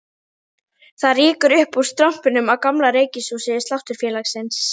Það rýkur upp úr strompinum á gamla reykhúsi Sláturfélagsins